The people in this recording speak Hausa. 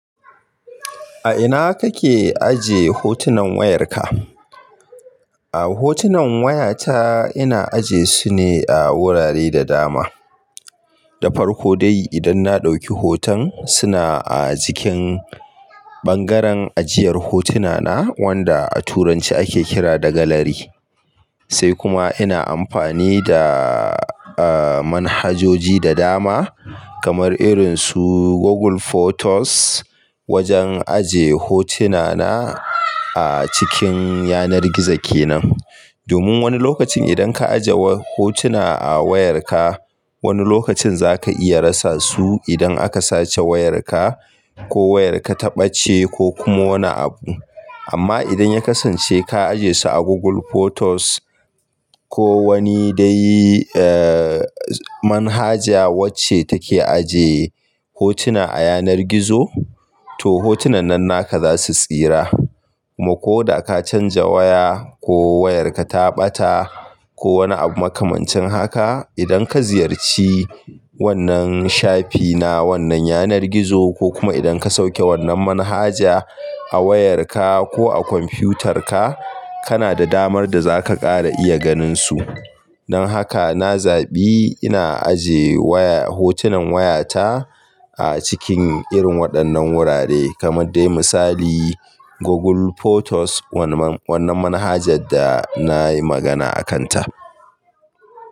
A ina kake ajiye hotunan wayarka? A hotunan wayata ina ajiye su ne a wurare da dama. Da farko dai idan na ɗauki hoton suna a jikin ɓangaren ajiyar hotuna na wanda a turanci ake kira da gallery. Sai kuma ina amfani da, eh, manhajoji da dama kamar irin su Google Photos wajen ajiye hotuna na a cikin yanar gizo kenan. Domin wani lokacin idan ka ajiye hotuna a wayarka, wani lokacin zaka iya rasa su idan aka sace wayarka ko wayarka ta ɓace ko kuma wani abu. Amma idan ya kasance ka ajiye su a Google Photos ko wani dai, eh, manhaja wacce take ajiye hotuna a yanar gizo, to hotunan nan naka za su tsira. Ko da ka canja waya ko wayarka ta ɓata ko wani makamancin haka, idan ka ziyarci wannan shafi na wannan yanar gizo ko kuma idan ka sauke wannan manhaja a wayarka ko a kwamfiyutarka, kana da damar da zaka ƙara iya ganin su. Don haka na zaɓi ina ajiye waya, hotunan wayata a cikin irin waɗannan wurare kamar dai misali Google Photos wannan, wannan manhajar da na yi magana a kan ta.